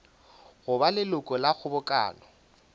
go ba leloko la kgobokano